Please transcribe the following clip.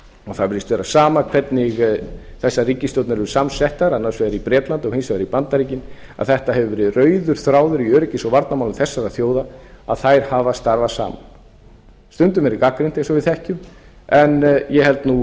það virðist vera sama hvernig þessar ríkisstjórnir eru samsettar annars vegar í bretlandi og hins vegar í bandaríkjunum að þetta hefur verið rauður þráður í öryggis og varnarmálum þessara þjóða að þær hafa starfað saman stundum verið gagnrýnt eins og við þekkjum en ég held nú